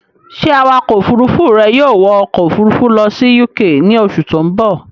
Ṣé Awakọ̀ òfurufú rẹ yóò wọ ọkọ̀ òfurufú lọ sí UK ní oṣù tó ń bọ̀?